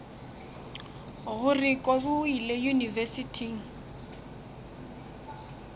gore kobi o ile yunibesithing